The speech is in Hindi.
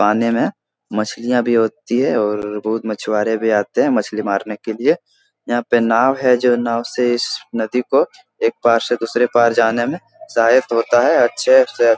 पानी में मछलियाँ भी होती है और बहुत मछुआरे भी आते हैं मछली मारने के लिए यहाँ पे नाव है जो नाव से इस नदी को एक पार से दूसरे पार जाने में सहायक होता है अच्छे से --